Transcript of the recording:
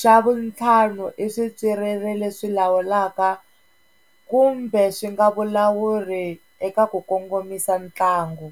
xa vutlhanu i swipyiriri leswi lawulaka kumbe swi nga vulawuri eka ku kongomisa ntlangu.